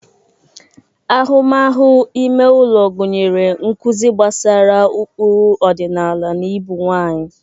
Ahụmahụ ime ụlọ gụnyere nkuzi gbasara ụkpụrụ ọdịnala na ibu nwanyị.